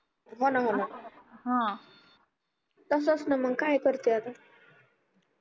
होना होना तसंच ना मग काय करते आता